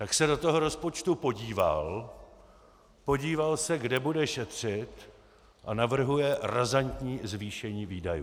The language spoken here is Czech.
Tak se do toho rozpočtu podívalo, podíval se, kde bude šetřit, a navrhuje razantní zvýšení výdajů.